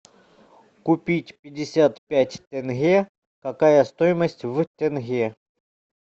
купить пятьдесят пять тенге какая стоимость в тенге